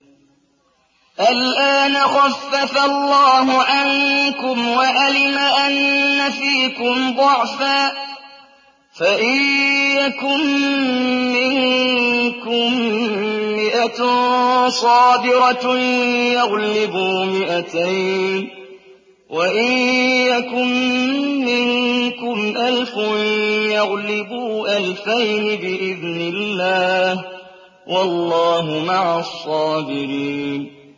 الْآنَ خَفَّفَ اللَّهُ عَنكُمْ وَعَلِمَ أَنَّ فِيكُمْ ضَعْفًا ۚ فَإِن يَكُن مِّنكُم مِّائَةٌ صَابِرَةٌ يَغْلِبُوا مِائَتَيْنِ ۚ وَإِن يَكُن مِّنكُمْ أَلْفٌ يَغْلِبُوا أَلْفَيْنِ بِإِذْنِ اللَّهِ ۗ وَاللَّهُ مَعَ الصَّابِرِينَ